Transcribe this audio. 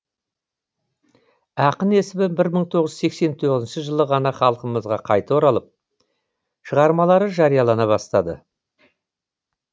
ақын есімі бір мың тоғыз жүз сексен тоғызыншы жылы ғана халқымызға қайта оралып шығармалары жариялана бастады